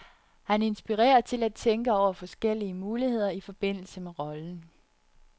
Han inspirerer til at tænke over forskellige muligheder i forbindelse med rollen.